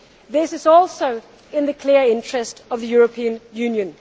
the euro. This is also in the clear interest of the European